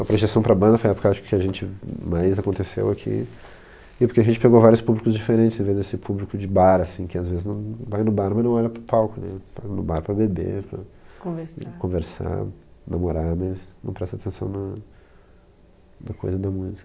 projeção para a banda foi a época que a gente mais aconteceu aqui, porque a gente pegou vários públicos diferentes, esse público de bar, que às vezes não, vai no bar, mas não olha para o palco, vai no bar para beber, para conversar, namorar, mas não presta atenção na na coisa da música.